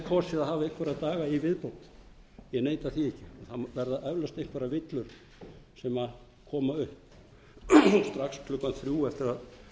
kosið að hafa einhverja daga í viðbót ég neita því ekki það verða eflaust einhverjar villur sem koma upp strax klukkan þrjú eftir að